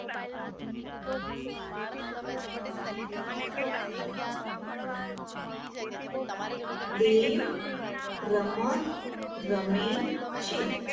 દેવ રમત રમે છે.